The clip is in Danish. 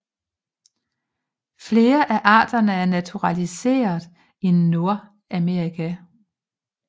Flere af arterne er naturaliseret i Nordamerika